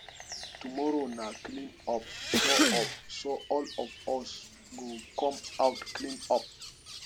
tomorrow na clean up so up so all of us go come out clean up